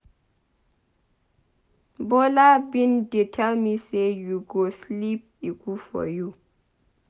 Bola bin dey tell me say you go sleep e good for you.